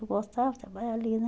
Eu gostava de trabalhar ali, né?